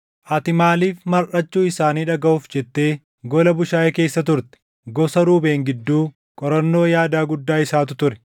Ati maaliif marʼachuu isaanii dhagaʼuuf jettee gola bushaayee keessa turte? Gosa Ruubeen gidduu, qorannoo yaadaa guddaa isaatu ture.